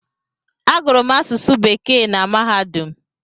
Agụrụ m asụsụ bekee na mahadum